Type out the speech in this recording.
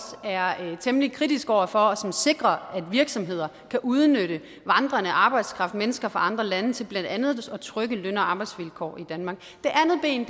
er temmelig kritisk over for og som sikrer at virksomheder kan udnytte vandrende arbejdskraft mennesker fra andre lande til blandt andet at trykke løn og arbejdsvilkår i danmark det andet ben